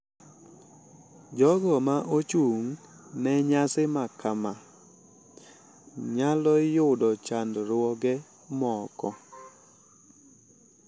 Jogo ma ochung` ne nyasi makama nyalo yudo chandruoge moko.